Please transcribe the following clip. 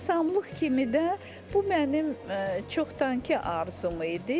Rəssamlıq kimi də bu mənim çoxdankı arzum idi.